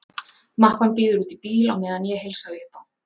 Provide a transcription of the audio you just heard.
Mappan bíður úti í bíl á meðan ég heilsa upp á